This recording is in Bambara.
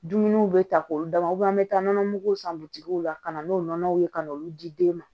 Dumuniw bɛ ta k'olu d'a ma an bɛ taa nɔnɔmuguw san bitigiw la ka na n'o nɔnɔw ye ka n'olu di den ma